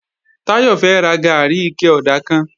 Táyọ̀ fẹ́ ra gàárì ike ọ̀dà kan